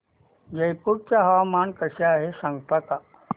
रायपूर चे हवामान कसे आहे सांगता का